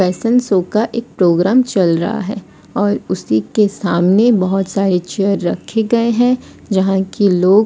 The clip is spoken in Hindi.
फैशन सो का एक प्रोग्राम चल रहा है और उसी के सामने बहोत सारे चेयर रखे गए है जहां कि लोग--